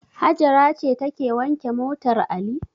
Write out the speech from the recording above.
Hajara ce take wanke motar Ali.